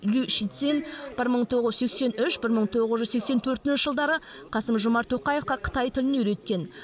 лю шицинь бір мың тоғыз жүз сексен үш бір мың тоғыз жүз сексен төртінші жылдары қасым жомарт тоқаевқа қытай тілін үйреткен